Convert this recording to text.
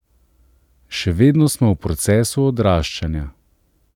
Še vedno smo v procesu odraščanja.